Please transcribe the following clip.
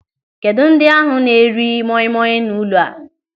Kedụ ndị ahụ na-eri moi moi n'ụlọ a.